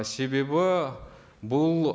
себебі бұл